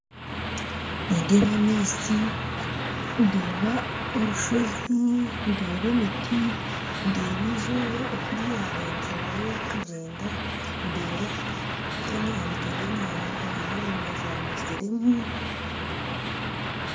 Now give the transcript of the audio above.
Nindeeba amaizi ndeeba orusozi ndeeba emiti ndeeba eizooba okuryarengyerayo kugyenda ndeeba aha mutwe gwenyanja haine enyoonyi zaabaire zirimu